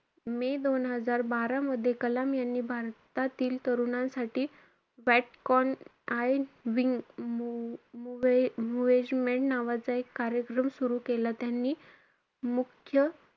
मे दोन हजार बारा मध्ये कलाम यांनी भारतातील तरुणांसाठी व्हॉट कॅन आय विंग मो~ मुव्हेजमेन्ट नावाचा एक कार्यक्रम सुरु केला. त्यांनी मुख्य,